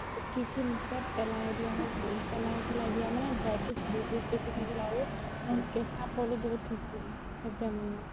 কি কি মোথতে পেলাই দিয়া হয় পেলাই চেলাই দিয়া মানে dry fruits বহুত বেচি খাইছিলো আৰু কেচা ফলও বহুত খাইছিলো সেইটো time ত মই